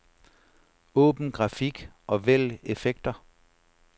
Åbn grafik og vælg effekter.